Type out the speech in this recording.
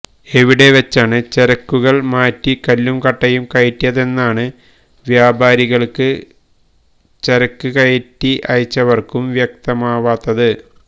എവിടെ വെച്ചാണ് ചരക്കുകള് മാറ്റി കല്ലും കട്ടയും കയറ്റിയതെന്നാണ് വ്യാപാരികള്ക്കും ചരക്ക് കയറ്റി അയച്ചവര്ക്കും വ്യക്തമാവാത്തത്